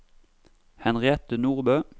Henriette Nordbø